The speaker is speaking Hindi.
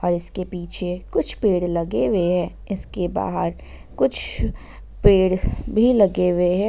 इसके पीछे कुछ पेड़ लगे हुए हैं इसके बाहर कुछ पेड़ भी लगे हुए हैं।